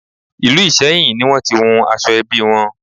Ìlú Ìsẹ́yìn ni wón ti wun aṣọ ẹbí wọn.